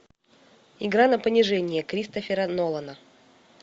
игра на понижение кристофера нолана